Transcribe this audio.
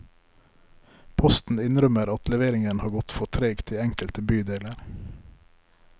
Posten innrømmer at leveringen har gått for tregt i enkelte bydeler.